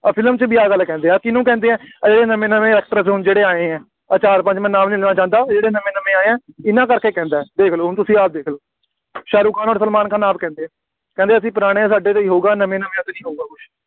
ਔਰ ਫਿਲਮ 'ਚ ਵੀ ਆਹ ਗੱਲ ਕਹਿੰਦੇ ਹੈ, ਕਿਹਨੂੰ ਕਹਿੰਦੇ ਆ, ਆਹ ਜਿਹੜੇ ਨਵੇਂ ਨਵੇਂ actors ਹੁਣ ਜਿਹੜੇ ਆਏ ਆ, ਆਹ ਚਾਰ ਪੰਜ, ਮੈਂ ਨਾਮ ਨਹੀਂ ਲੈਣਾ ਚਾਹੁੰਦਾ, ਆਹ ਜਿਹੜੇ ਨਵੇਂ ਨਵੇਂ ਆਏ ਆ, ਇਹਨਾ ਕਰਕੇ ਕਹਿੰਦਾ, ਦੇਖ ਲਓ ਹੁਣ ਤੁਸੀਂ ਆਪ ਦੇਖ ਲਓ, ਸ਼ਾਹਰੁਖ ਖਾਨ ਅਤੇ ਸਲਮਾਨ ਖਾਨ ਆਪ ਕਹਿੰਦੇ ਆ, ਕਹਿੰਦੇ ਅਸੀਂ ਪੁਰਾਣੇ, ਸਾਡੇ ਤੋਂ ਹੀ ਹੋਊਗਾ, ਨਵੇਂ ਨਵਿਆਂ ਤੋਂ ਨਹੀਂ ਹੋਊਗਾ ਕੁੱਝ,